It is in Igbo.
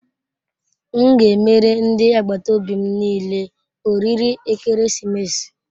M ga emere ndi agbataobi m niile oriri ekeresimesi.